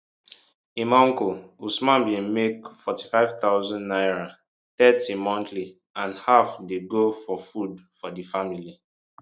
im uncle usman bin make 45000 naira thirty monthly and half dey go for food for di family